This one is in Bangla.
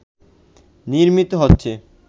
নির্মিত হচ্ছে